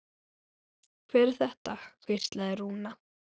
Hver er þetta? hvíslaði Rúna.